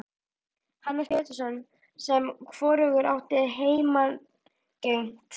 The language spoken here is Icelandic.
Hannes Pétursson sem hvorugur átti heimangengt.